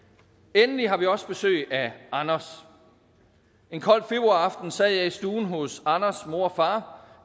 endelig har vi også besøg af anders en kold februaraften sad jeg i stuen hos anders mor og far